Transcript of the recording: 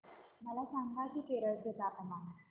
मला सांगा की केरळ चे तापमान